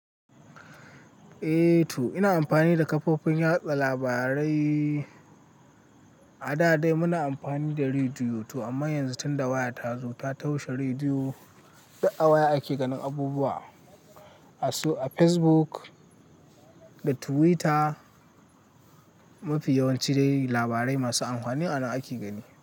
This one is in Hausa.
A to ina amfani da kafofin yada labarai. A da dai muna amfani da rediyo to amma yanzu tunda waya ta zo ta taushe rediyo, duk awaya ake ganin abubuwa. A su, a Facebook da Twitter mafi yawanci dai labarai masu amfani anan ake gani.